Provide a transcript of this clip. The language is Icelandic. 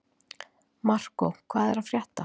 Markó, hvað er að frétta?